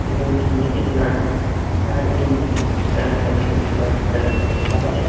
इस इमेज में एक लड़का कार की मरम्मत कर रहा है जो की वाइट कलर की कार है।